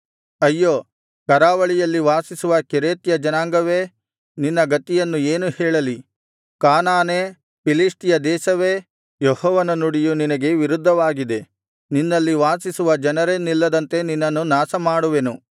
ಅಯ್ಯೋ ಕರಾವಳಿಯಲ್ಲಿ ವಾಸಿಸುವ ಕೆರೇತ್ಯ ಜನಾಂಗವೇ ನಿನ್ನ ಗತಿಯನ್ನು ಏನು ಹೇಳಲಿ ಕಾನಾನೇ ಫಿಲಿಷ್ಟಿಯ ದೇಶವೇ ಯೆಹೋವನ ನುಡಿಯು ನಿನಗೆ ವಿರುದ್ಧವಾಗಿದೆ ನಿನ್ನಲ್ಲಿ ವಾಸಿಸುವ ಜನರೇ ನಿಲ್ಲದಂತೆ ನಿನ್ನನ್ನು ನಾಶಮಾಡುವೆನು